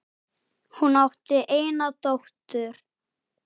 Hún átti eina dóttur.